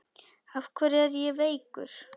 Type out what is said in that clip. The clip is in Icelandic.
Af hverju er ég veikur?